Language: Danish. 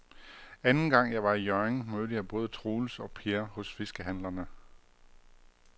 Anden gang jeg var i Hjørring, mødte jeg både Troels og Per hos fiskehandlerne.